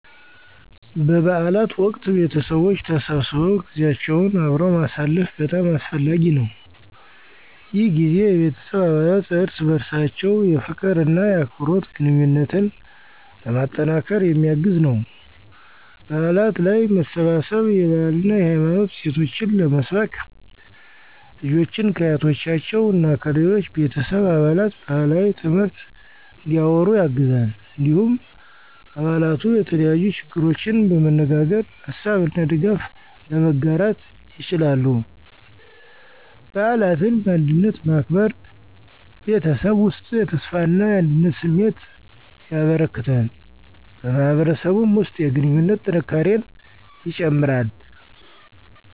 በበዓል ወቅት ቤተሰቦች ተሰብስበው ጊዜያቸውን አብረው ማሳለፍ በጣም አስፈላጊ ነው። ይህ ጊዜ የቤተሰብ አባላት እርስ በርሳቸው የፍቅር እና የአክብሮት ግንኙነትን ለማጠናከር የሚያግዝ ነው። በዓላት ላይ መሰባሰብ የባህልና የሃይማኖት እሴቶችን ለመስበክ፣ ልጆችን ከአያቶቻቸው እና ከሌሎች ቤተሰብ አባላት ባህላዊ ትምህርት እንዲያወሩ ያግዛል። እንዲሁም አባላቱ የተለያዩ ችግሮችን በመነጋገር ሀሳብ እና ድጋፍ ለመጋራት ይችላሉ። በዓላትን በአንድነት ማክበር በቤተሰብ ውስጥ የተስፋና አንድነት ስሜትን ያበረክታል፣ በማህበረሰብም ውስጥ የግንኙነት ጥንካሬን ይጨምራል።